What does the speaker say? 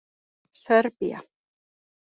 Serbía